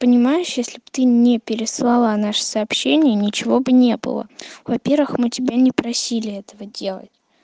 понимаешь если бы ты не переслала наше сообщение ничего бы не было во-первых мы тебя не просили этого делать